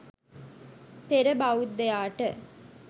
පෙර බෞද්ධයාට